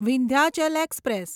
Vindhyachal express